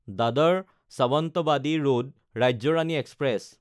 Dadar Sawantwadi road Rajya Rani express